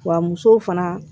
Wa musow fana